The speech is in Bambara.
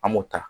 An m'o ta